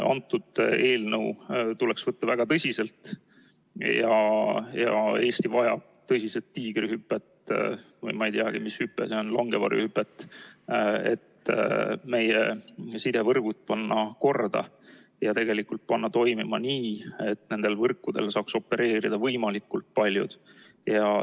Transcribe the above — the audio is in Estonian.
Antud eelnõu tuleks võtta väga tõsiselt ja Eesti vajab tõsiselt tiigrihüpet või ma ei teagi, mis hüpe see on, langevarjuhüpet, et meie sidevõrgud teha korda ja panna toimima nii, et nendel võrkudel saaks opereerida võimalikult paljud.